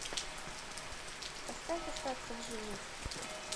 поставь остаться в живых